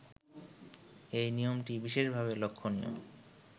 এই নিয়মটি বিশেষভাবে লক্ষণীয়